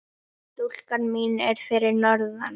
Stúlkan mín er fyrir norðan.